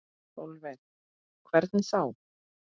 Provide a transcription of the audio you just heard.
Sólveig: Hvernig þá?